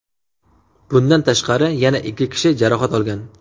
Bundan tashqari, yana ikki kishi jarohat olgan.